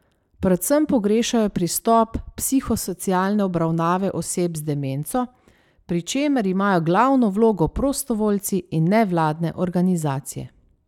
Predvsem pogrešajo pristop psihosocialne obravnave oseb z demenco, pri čemer imajo glavno vlogo prostovoljci in nevladne organizacije.